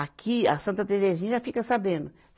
Aqui, a Santa Terezinha já fica sabendo.